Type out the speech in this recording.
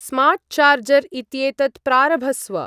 Smart charger इत्येतत् प्रारभस्व।